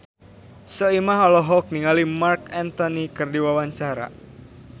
Soimah olohok ningali Marc Anthony keur diwawancara